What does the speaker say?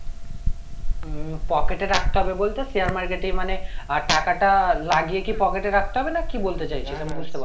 উম pocket এ রাখতে হবে বলতে share market এই মানে টাকাটা লাগিয়ে কি pocket এ রাখতে হবে না কি বলতে চাইছো